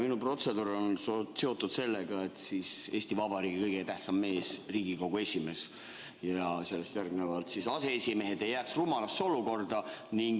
Minu protseduur on seotud sellega, et Eesti Vabariigi kõige tähtsam mees, Riigikogu esimees ja sellest järgnevad mehed, aseesimehed, ei jääks rumalasse olukorda.